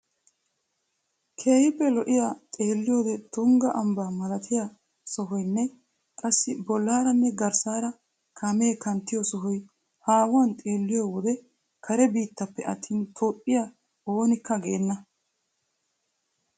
Keehiippe lo'iya xeelliyode tungga ambbaa malattiya sohoynne qassi bollaaranne garssaara kaamee kanttiyo sohoy haahuwan xeelliyo wode kare biittappe attin toophphiya onnekke geenna.